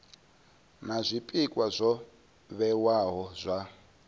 na zwpikwa zwo vhewaho zwa